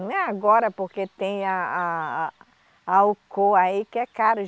Não é agora, porque tem a a a Alcô aí, que é caro.